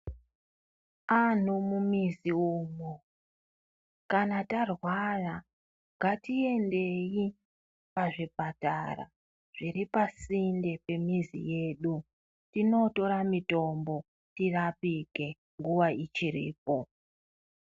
Antu mumizi umo kana tarwara ngatiendei pazvipatara zviripasinde pemizi yedu, tinotora mitombo tirapike nguva ichiripo.